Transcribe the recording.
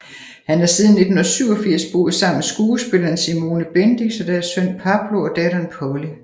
Han har siden 1987 boet sammen med skuespilleren Simone Bendix og deres søn Pablo og datteren Polly